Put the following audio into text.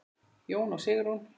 Jón og Sigrún.